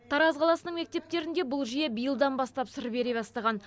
тараз қаласының мектептерінде бұл жүйе биылдан бастап сыр бере бастаған